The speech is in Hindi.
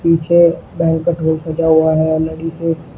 पीछे बैंकट हॉल सजा हुआ है लड़ि से।